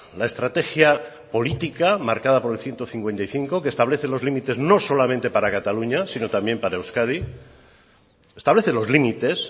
la estrategia política marcada por el ciento cincuenta y cinco que establece los límites no solo para cataluña sino también para euskadi establece los límites